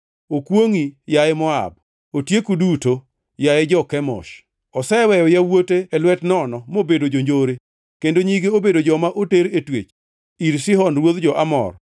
Okwongʼi, yaye Moab, otieku duto, yaye jo-Kemosh! Oseweyo yawuote e lwet nono mobedo jonjore kendo nyige obedo joma oter e twech, ir Sihon ruodh jo-Amor.